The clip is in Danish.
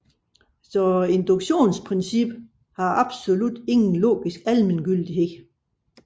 Så induktionsprincippet har absolut ingen logisk almengyldighed